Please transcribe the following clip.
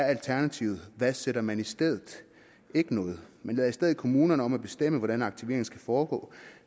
alternativet hvad sætter man i stedet ikke noget man lader i stedet kommunerne bestemme hvordan aktiveringen skal foregå